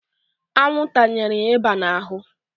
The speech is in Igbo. Anwụ tanyere ya ịba n'ahụ.